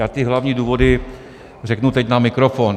Já ty hlavní důvody řeknu teď na mikrofon.